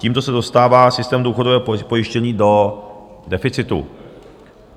Tímto se dostává systém důchodového pojištění do deficitu.